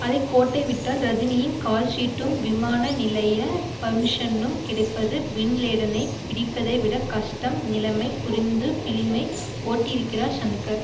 அதை கோட்டைவிட்டால் ரஜினியின் கால்ஷீட்டும் விமான நிலைய பர்மிஷனும் கிடைப்பது பின்லேடனை பிடிப்பதைவிட கஷ்டம் நிலைமை புரிந்து பிலிமை ஓட்டியிருக்கிறார் ஷங்கர்